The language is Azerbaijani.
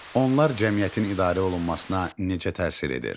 Onlar cəmiyyətin idarə olunmasına necə təsir edir?